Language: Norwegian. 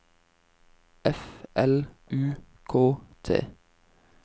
F L U K T